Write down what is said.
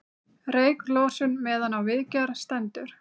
Reyklosun meðan á viðgerð stendur